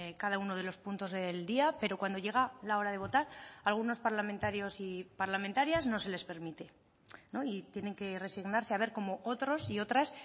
cada uno de los puntos del día pero cuando llega la hora de votar a algunos parlamentarios y parlamentarias no se les permite y tienen que resignarse a ver cómo otros y otras